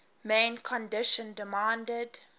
main condition demanded